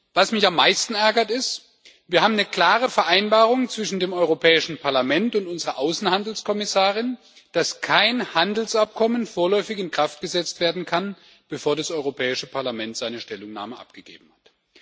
Was mich am meisten ärgert Wir haben eine klare Vereinbarung zwischen dem Europäischen Parlament und unserer Außenhandelskommissarin, dass kein Handelsabkommen vorläufig in Kraft gesetzt werden kann, bevor das Europäische Parlament seine Stellungnahme abgegeben hat.